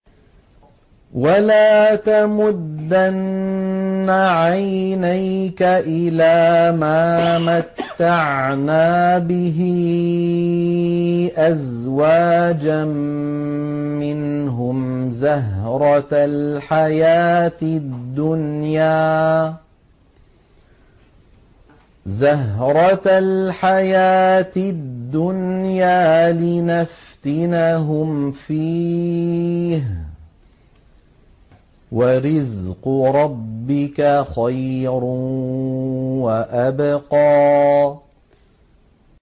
وَلَا تَمُدَّنَّ عَيْنَيْكَ إِلَىٰ مَا مَتَّعْنَا بِهِ أَزْوَاجًا مِّنْهُمْ زَهْرَةَ الْحَيَاةِ الدُّنْيَا لِنَفْتِنَهُمْ فِيهِ ۚ وَرِزْقُ رَبِّكَ خَيْرٌ وَأَبْقَىٰ